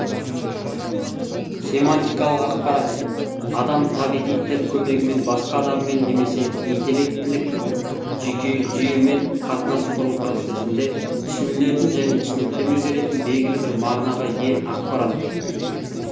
семантикалық ақпарат адам табиғи тіл көмегімен басқа адаммен немесе интеллектілік жүйемен қатынас құру процесінде түсінілетін және түсініктеме беретін белгілі бір мағынаға ие ақпарат